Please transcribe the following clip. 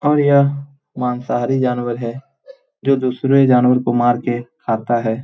और यह मांसाहारी जानवर है जो दूसरे जानवर को मार के खाता है।